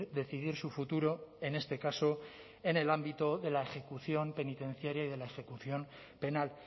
decidir su futuro en este caso en el ámbito de la ejecución penitenciaria y de la ejecución penal